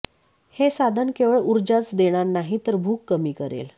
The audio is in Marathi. हे साधन केवळ ऊर्जाच देणार नाही तर भूक कमी करेल